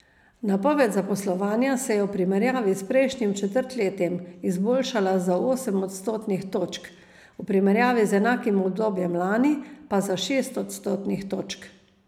Napoved zaposlovanja se je v primerjavi s prejšnjim četrtletjem izboljšala za osem odstotnih točk, v primerjavi z enakim obdobjem lani pa za šest odstotnih točk.